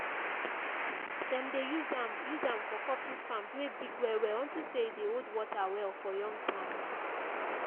dem dey use am use am for coffee farms wey big well well unto say e dey hold water well for young plants.